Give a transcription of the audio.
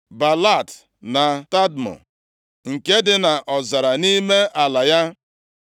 Baalat na Tadmọ + 9:18 Maọbụ, Tama nʼasụsụ ndị Hibru nke dị nʼọzara nʼime ala ya.